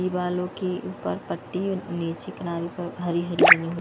दिवालों के ऊपर पट्टी नीचे किनारे पर हरी हरी--